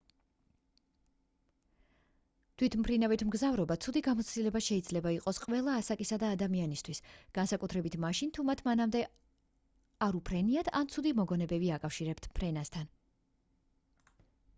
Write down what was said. თვითმფრინავით მგზავრობა ცუდი გამოცდილება შეიძლება იყოს ყველა ასაკისა ადამიანისთვის განსაკუთრებით მაშინ თუ მათ მანამდე არ უფრენიათ ან ცუდი მოგონებები აკავშირებთ ფრენასთან